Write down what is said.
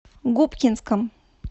губкинском